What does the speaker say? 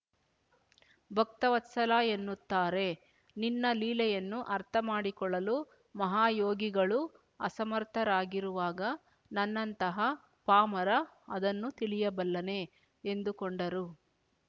ಭಕ್ತವತ್ಸಲ ಎನ್ನುತ್ತಾರೆ ನಿನ್ನ ಲೀಲೆಯನ್ನು ಅರ್ಥಮಾಡಿಕೊಳ್ಳಲು ಮಹಾಯೋಗಿಗಳೂ ಅಸಮರ್ಥರಾಗಿರುವಾಗ ನನ್ನಂತಹ ಪಾಮರ ಅದನ್ನು ತಿಳಿಯಬಲ್ಲನೆ ಎಂದುಕೊಂಡರು